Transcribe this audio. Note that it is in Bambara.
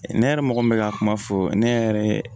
Ne yɛrɛ mɔgɔ min bɛ ka kuma fɔ ne yɛrɛ